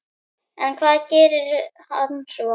En hvað gerir hann svo?